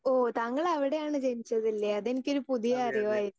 Speaker 2 ഓ താങ്കൾ അവിടെയാണ് ജനിച്ചതല്ലേ അത് എനിക്കൊരു പുതിയ അറിവായിരുന്നു.